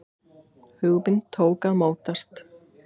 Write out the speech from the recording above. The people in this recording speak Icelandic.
Hugmynd tók að mótast.